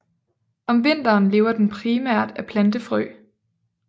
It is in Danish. Om vinteren lever den primært af plantefrø